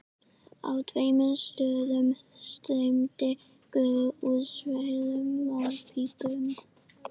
Á tveimur stöðum streymdi gufa úr sverum málmpípum.